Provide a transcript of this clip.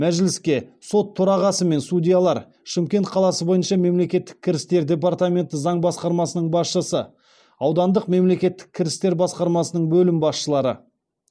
мәжіліске сот төрағасы мен судьялар шымкент қаласы бойынша мемлекеттік кірістер департаменті заң басқармасының басшысы аудандық мемлекеттік кірістер басқармасының бөлім басшылары